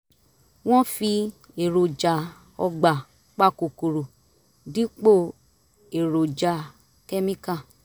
wọ́n fi èròjà ọgbà pa kòkòrò dípò èròjà kẹ́míkà